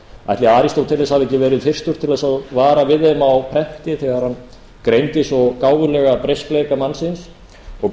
ætli aristóteles hafi ekki verið fyrstur til þess að vara við þeim á prenti þegar hann greindi svo gáfulega breyskleika mannsins og